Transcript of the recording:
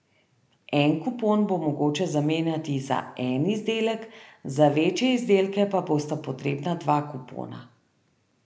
En kupon bo mogoče zamenjati za en izdelek, za večje izdelke pa bosta potrebna dva kupona.